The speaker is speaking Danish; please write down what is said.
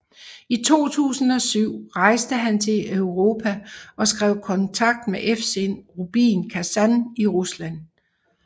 I 2007 rejste han til Europa og skrev kontrakt med FC Rubin Kazan i Rusland